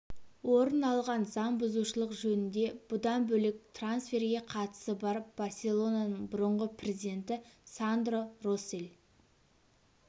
орын алған заң бұзушылық жөнінде бұдан бөлек трансферге қатысы бар барселонаның бұрынғы президенті сандро россель